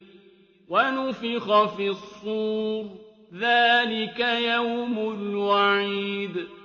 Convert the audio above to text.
وَنُفِخَ فِي الصُّورِ ۚ ذَٰلِكَ يَوْمُ الْوَعِيدِ